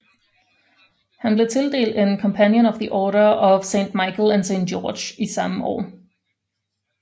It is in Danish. Han blev tildelt en Companion of the Order of St Michael and St George samme år